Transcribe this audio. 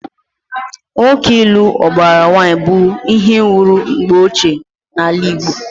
Nwoke ịlụ ụbara nwaanyị bụ ihe wuru mgbe ochie n'ala Igbo.